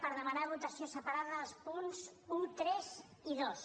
per demanar votació separada dels punts un tres i dos